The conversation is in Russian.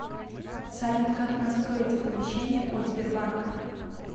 салют как настроить оповещение от сбербанка